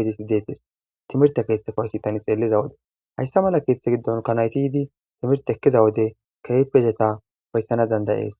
oydisi dettes timirte keeththeko hayssi tani xeelliza wode hayssa mala keeththe giddon ka nayti yiidi timirte ekkiza wode keepezeta fayssana dandayees